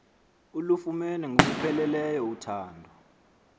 ulufumene ngokupheleleyo uthando